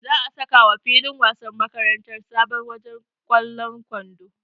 Za'a sakawa filin wasan makarantar sabon wajen ƙwallon kwando.